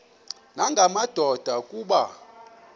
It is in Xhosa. nanga madoda kuba